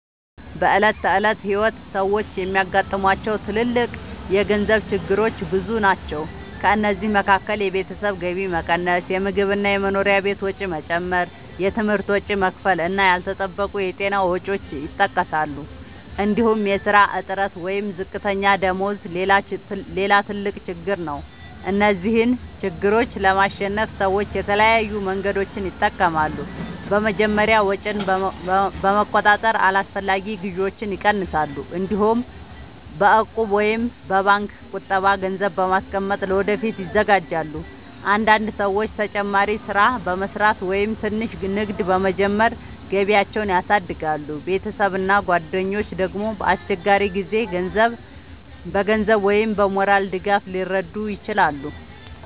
በዕለት ተዕለት ሕይወት ሰዎች የሚያጋጥሟቸው ትልልቅ የገንዘብ ችግሮች ብዙ ናቸው። ከእነዚህ መካከል የቤተሰብ ገቢ መቀነስ፣ የምግብ እና የመኖሪያ ወጪ መጨመር፣ የትምህርት ወጪ መክፈል እና ያልተጠበቁ የጤና ወጪዎች ይጠቀሳሉ። እንዲሁም የሥራ እጥረት ወይም ዝቅተኛ ደመወዝ ሌላ ትልቅ ችግር ነው። እነዚህን ችግሮች ለማሸነፍ ሰዎች የተለያዩ መንገዶችን ይጠቀማሉ። በመጀመሪያ ወጪን በመቆጣጠር አላስፈላጊ ግዢዎችን ይቀንሳሉ። እንዲሁም በእቁብ ወይም በባንክ ቁጠባ ገንዘብ በማስቀመጥ ለወደፊት ይዘጋጃሉ። አንዳንድ ሰዎች ተጨማሪ ሥራ በመስራት ወይም ትንሽ ንግድ በመጀመር ገቢያቸውን ያሳድጋሉ። ቤተሰብ እና ጓደኞች ደግሞ በአስቸጋሪ ጊዜ በገንዘብ ወይም በሞራል ድጋፍ ሊረዱ ይችላሉ።